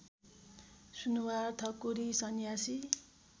Sunuwar Thakuri Sanyasi